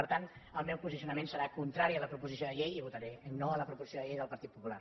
per tant el meu posicionament serà contrari a la proposició de llei i votaré no a la proposició de llei del partit popular